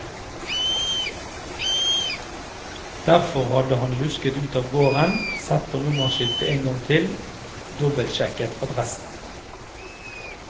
Derfor hadde han lusket ut av gården, sett på nummerskiltet en gang til, dobbelsjekket adressen.